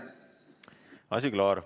Asi klaar.